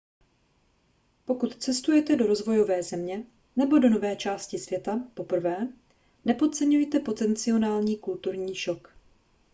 pokud cestujete do rozvojové země nebo do nové části světa poprvé nepodceňujte potenciální kulturní šok